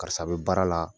Karisa bɛ baara la